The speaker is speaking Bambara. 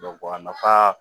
a nafa